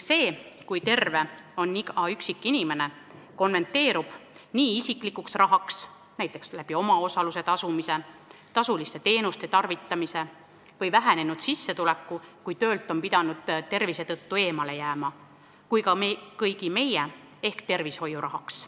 See, kui terve on iga üksikinimene, konverteerub nii isiklikuks rahaks kui ka kõigi meie rahaks ehk tervishoiurahaks.